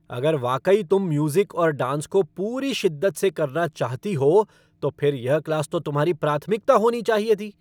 अगर वाकई तुम म्यूज़िक और डांस को पूरी शिद्दत से करना चाहती हो तो फिर यह क्लास तो तुम्हारी प्राथमिकता होनी चाहिए थी।